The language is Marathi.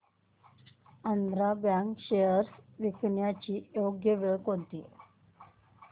आंध्रा बँक शेअर्स विकण्याची योग्य वेळ कोणती